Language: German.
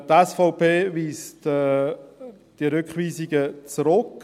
Die SVP weist die Rückweisungen zurück.